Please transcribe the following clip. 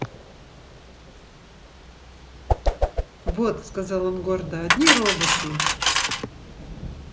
вот сказал он гордо одни роботы